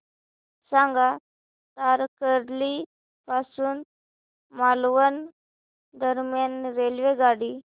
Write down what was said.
सांगा तारकर्ली पासून मालवण दरम्यान रेल्वेगाडी